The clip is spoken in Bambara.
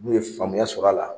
N'u ye faamuya sɔrɔ a la